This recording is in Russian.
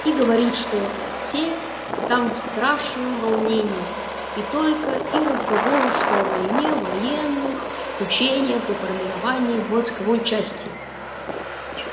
и говорит что все там в страшном волнении и только и разговору что о войне военных учениях и формировании войсковой части